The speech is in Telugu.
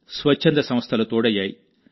స్వచ్చంద సంస్థలు తోడయ్యాయి